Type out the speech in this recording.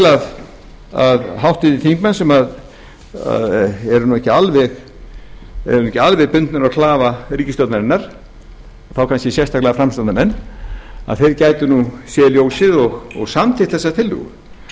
til að háttvirtir þingmenn sem eru ekki alveg bundnir á klafa ríkisstjórnarinnar og þá kannski sérstaklega framsóknarmenn gætu séð ljósið og samþykkt þessa tillögu